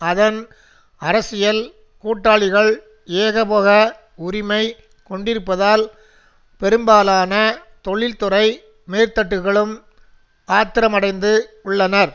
அதன் அரசியல் கூட்டாளிகள் ஏகபோக உரிமை கொண்டிருப்பதால் பெரும்பாலான தொழில்துறை மேற்தட்டுக்களும் ஆத்திரமடைந்து உள்ளனர்